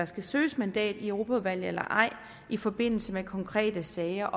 skal søges mandat i europaudvalget eller ej i forbindelse med konkrete sager